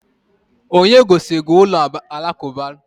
Onye gosiri gị ụlọ alakụba?